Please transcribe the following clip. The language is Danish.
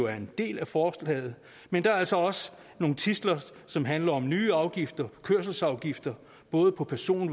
er en del af forslaget men der er altså også nogle tidsler som handler om nye afgifter kørselsafgifter både på person